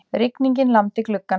Rigningin lamdi gluggann.